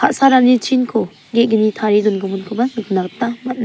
ka·sarani chinko ge·gni tarie dongiminkoba nikna gita man·a.